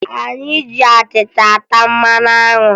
Anyị ji achịcha ata mmanụ anwụ